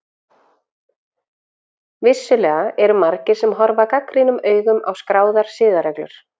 Vissulega eru margir sem horfa gagnrýnum augum á skráðar siðareglur.